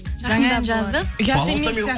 жаңа жаздық ұят емес